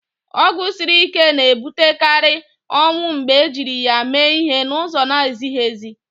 Ọgwụ siri ike na-ebutekarị ọnwụ mgbe ejiri ya mee ihe n'ụzọ na-ezighị ezi.